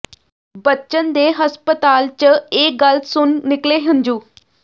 ਬਚਨ ਦੇ ਹਸਪਤਾਲ ਚ ਇਹ ਗਲ੍ਹ ਸੁਣ ਨਿਕਲੇ ਹੰਝੂ